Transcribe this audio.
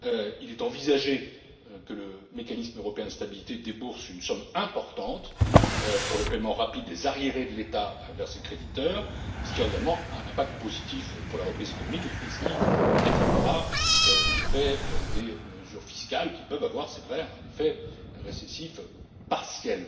Il est envisagé que le Mécanisme européen de stabilité débourse une somme importante pour le paiement rapide des arriérés de l'État envers ses créditeurs, ce qui aura également un impact positif pour la reprise économique et atténuera l'effet des mesures fiscales qui peuvent avoir c'est vrai un effet récessif partiel.